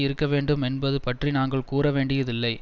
இருக்க வேண்டும் என்பது பற்றி நாங்கள் கூறவேண்டியதில்லை